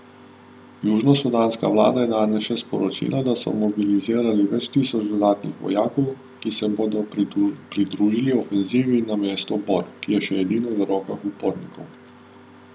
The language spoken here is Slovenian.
Južnosudanska vlada je danes še sporočila, da so mobilizirali več tisoč dodatnih vojakov, ki se bodo pridružili ofenzivi na mesto Bor, ki je še edino v rokah upornikov.